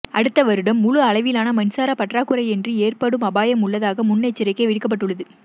அடுத்த வருடம் முழு அளவிலான மின்சார பற்றாக்குறையொன்று ஏற்படும் அபாயம் உள்ளதாக முன்னெச்சரிக்கை விடுக்கப்பட்டுள்ளது